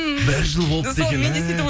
бір жыл болыпты екен мә